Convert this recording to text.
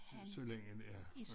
Så længen ja